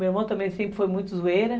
Meu irmão também sempre foi muito zoeira.